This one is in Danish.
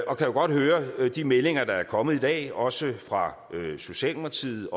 og kan jo godt høre de meldinger der er kommet i dag også fra socialdemokratiet